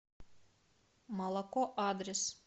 молоко адрес